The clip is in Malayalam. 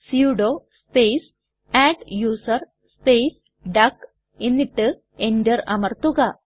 sudo space adduser space duck എന്നിട്ട് എന്റർ അമർത്തുക